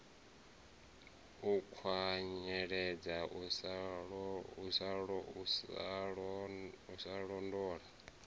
u kwanyeledza u sa londola